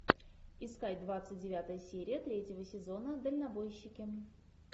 искать двадцать девятая серия третьего сезона дальнобойщики